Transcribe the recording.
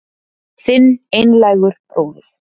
Þinn einlægur bróðir